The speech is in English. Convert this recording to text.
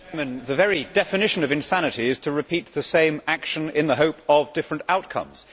Mr President, the very definition of insanity is to repeat the same action in the hope of different outcomes.